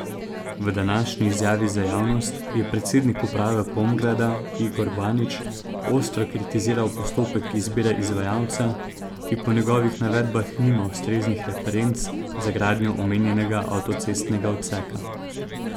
V današnji izjavi za javnost je predsednik uprave Pomgrada Igor Banič ostro kritiziral postopek izbire izvajalca, ki po njegovih navedbah nima ustreznih referenc za gradnjo omenjenega avtocestnega odseka.